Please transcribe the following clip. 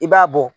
I b'a bɔ